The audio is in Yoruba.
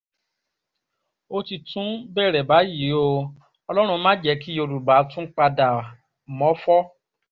ó ti tún bẹ̀rẹ̀ báyìí o ọlọ́run má jẹ́ kí yorùbá tún padà mọ́fọ́